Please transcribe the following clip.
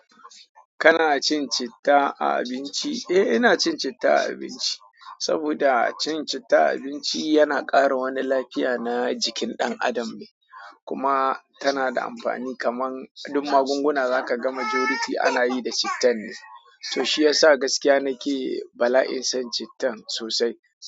Kana cin citta a abinci? Eh, ina cin citta a abinci. Saboda cin citta a abinci yana ƙara wani lafiya na jikin ɗan adam ne. Kuma tana da amfani kaman duk magunguna zaka ga majority ana yi da cittan ne. Toh shi yasa gaskiya nake bala'in son chittan sosai.